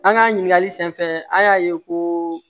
An ka ɲininkali sen fɛ an y'a ye ko